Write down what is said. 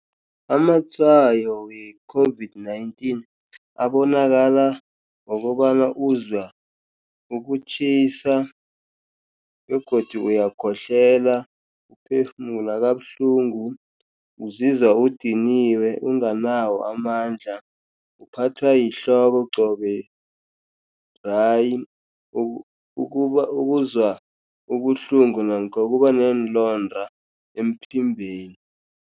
Amatshwayo we-COVID-19 abonakala ngokobana uzwa ukutjhisa, begodu uyakhohlela, uphefumula kabuhlungu. Uzizwa udiniwe unganawo amandla. Uphathwa yihloko qobe dry. Ukuzwa ubuhlungu namkha ukuba uneenlonda emphimbeni.